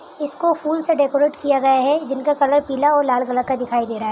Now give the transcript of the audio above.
इसको फूल से डेकोरेट किया गया है जिनका कलर पीला और लाल कलर का दिखाई दे रहा है ।